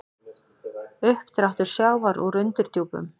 Uppdráttur sjávar úr undirdjúpum